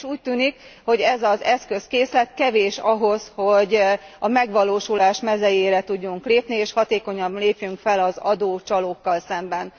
Mégis úgy tűnik, hogy ez az eszközkészlet kevés ahhoz, hogy a megvalósulás mezejére tudjunk lépni, és hatékonyan lépjünk fel az adócsalókkal szemben.